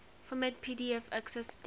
format pdf accessdate